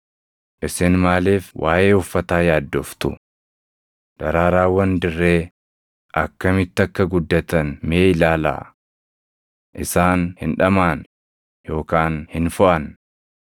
“Isin maaliif waaʼee uffataa yaaddoftu? Daraaraawwan dirree akkamitti akka guddatan mee ilaalaa. Isaan hin dhamaʼan yookaan hin foʼan.